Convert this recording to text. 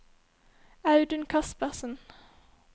Audun Kaspersen